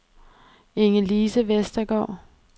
Ingelise Westergaard